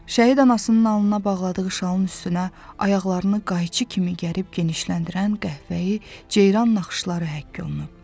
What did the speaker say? Şəhid anasının alnına bağladığı şalın üstünə ayaqlarını qayçı kimi gərib genişləndirən qəhvəyi ceyran naxışları həkk olunub.